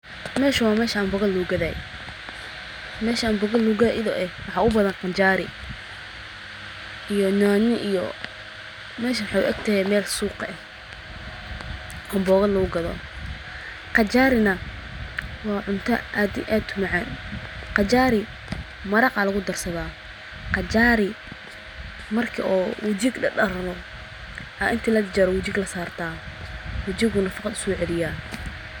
Mee shaa wa meeshaa mbooga lagu gadhaye? Mee shaa amboogo lagu gadho idho ee wax u badan qajaari. Iyo nyaanyad iyo mee sha muxoo eegtaa meel suuqa ah. Ambooga lagu gadho. Qajaari na waa cunto aad iyo aad ee uu macaan . Qajaari maraq aa lagu darsadaa. Qajaari markii oo wujig dhahdharno inta la jar jaro wujiga la saarta. Wujigu nafaqo uso celiyah.